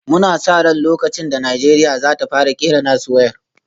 Muna sa ran lokacin da Najeriya za ta fara kera nasu wayar